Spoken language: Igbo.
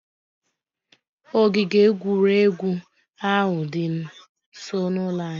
Ogige egwuregwu ahụ dị nsọ n'ụlọ anyị